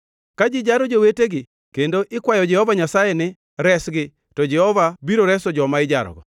Ka ji jaro jowetegi kendo ikwayo Jehova Nyasaye ni, ‘Resgi!’ to Jehova biro reso joma ijarogo.